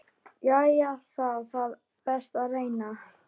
Jæja, þá það, best ég reyni.